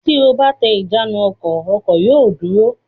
Tí o bá tẹ ìjánu-ọkọ̀, ọkọ̀ yóò dúró.